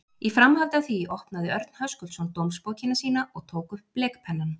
Í framhaldi af því opnaði Örn Höskuldsson dómsbókina sína og tók upp blekpennann.